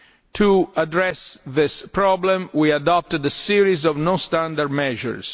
To address this problem, we adopted a series of non standard measures.